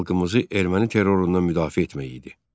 Xalqımızı erməni terrorundan müdafiə etmək idi.